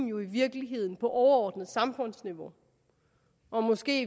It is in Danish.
jo i virkeligheden bruges på overordnet samfundsniveau og måske